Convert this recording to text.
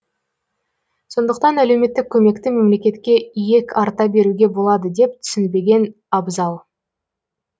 сондықтан әлеуметтік көмекті мемлекетке иек арта беруге болады деп түсінбеген абзал